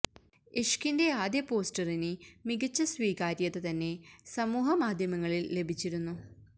ഇഷ്കിന്റെ ആദ്യ പോസ്റ്ററിന് മികച്ച സ്വീകാര്യത തന്നെ സമൂഹ മാധ്യമങ്ങളില് ലഭിച്ചിരുന്നു